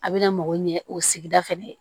A bɛna mago ɲɛ o sigida fɛnɛ